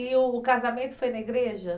E o casamento foi na igreja?